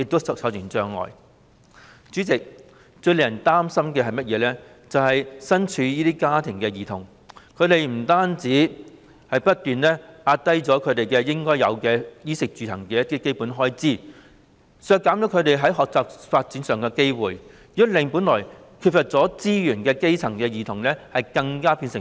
代理主席，最令人擔心的是，身處這些家庭的兒童不單只能不斷壓縮他們應有的、在衣食住行方面的基本開支，以致削減他們學習和發展的機會，亦令本來已經缺乏資源的基層兒童變為更弱勢的社群。